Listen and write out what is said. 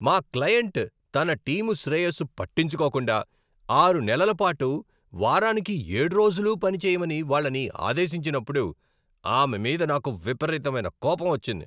మా క్లయింట్ తన టీమ్ శ్రేయస్సు పట్టించుకోకుండా ఆరు నెలల పాటు వారానికి ఏడు రోజులూ పని చేయమని వాళ్ళని ఆదేశించినప్పుడు, ఆమె మీద నాకు విపరీతమైన కోపం వచ్చింది.